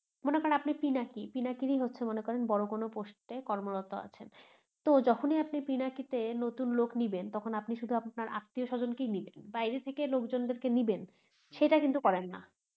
মনে করেন আপনি পিনাকী পিনাকিরই হচ্ছেন মনে করেন বড় কোনো post এ কর্মরত আছেন তো যখনি আপনি পিনাকী তে নতুন লোক নিবেন তখন আপনি শুধু আপনার আত্মীয় স্বজনকেই নিবেন বাইরের থেকে লোকজনদেরকে নিবেন সেইটা কিন্তু করেন না